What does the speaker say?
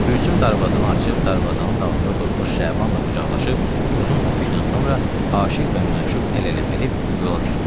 Gülsüm darvazanı açıb darvazanın dalında durmuş Şabanla qucaqlaşıb uzun öpüşdən sonra aşiq və məşuq əl-ələ verib yola düşdülər.